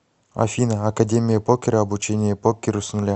афина академия покера обучение покеру с нуля